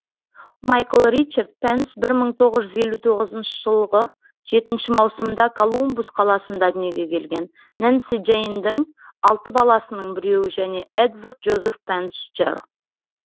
майкл ричард пенс бір мың тоғыз жүз елу тоғызыншы жылғы жетінші маусымда колумбус қаласында дүниеге келген нэнси джейндің алты баласының біреуі және эдвард джозеф пенс джр